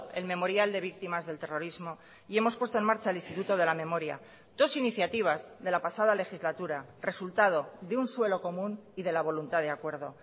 el memorial de víctimas del terrorismo y hemos puesto en marcha el instituto de la memoria dos iniciativas de la pasada legislatura resultado de un suelo común y de la voluntad de acuerdo